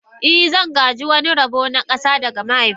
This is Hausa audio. I, zan gāji wani rabo na ƙasa daga mahaifina